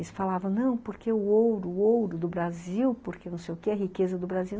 Eles falavam, não, porque o ouro, o ouro do Brasil, porque não sei o que, a riqueza do Brasil.